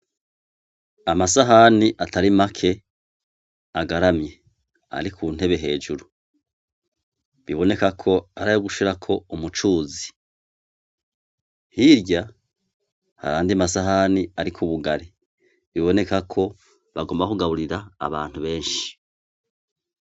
Amasahani atari make agaramye ari kuntebe hejuru biboneka ko arayo gushirako umucuzi, hirya hari ayandi masahani arikp ubugari biboneka ko agomba kugaburira abantu benshi.